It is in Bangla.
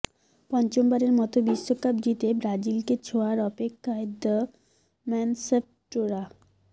পঞ্চমবারের মতো বিশ্বকাপ জিতে ব্রাজিলকে ছোঁয়ার অপেক্ষায় দ্য ম্যানশ্যাফ্টরা